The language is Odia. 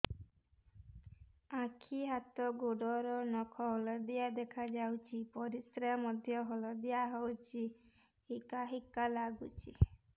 ଆଖି ହାତ ଗୋଡ଼ର ନଖ ହଳଦିଆ ଦେଖା ଯାଉଛି ପରିସ୍ରା ମଧ୍ୟ ହଳଦିଆ ହଉଛି ହିକା ହିକା ଲାଗୁଛି